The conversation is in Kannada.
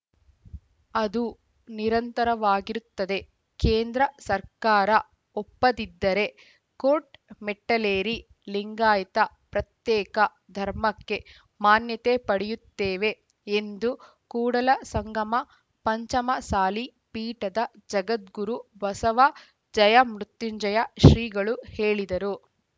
ಅದು ನಿರಂತರವಾಗಿರುತ್ತದೆ ಕೇಂದ್ರ ಸರ್ಕಾರ ಒಪ್ಪದಿದ್ದರೆ ಕೋರ್ಟ್‌ ಮೆಟ್ಟಲೇರಿ ಲಿಂಗಾಯತ ಪ್ರತ್ಯೇಕ ಧರ್ಮಕ್ಕೆ ಮಾನ್ಯತೆ ಪಡೆಯುತ್ತೇವೆ ಎಂದು ಕೂಡಲಸಂಗಮ ಪಂಚಮಸಾಲಿ ಪೀಠದ ಜಗದ್ಗುರು ಬಸವ ಜಯಮೃತ್ಯುಂಜಯ ಶ್ರೀಗಳು ಹೇಳಿದರು